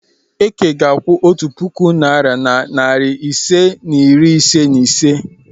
Eke ga-akwụ otu puku naịra na narị ise na iri ise na ise.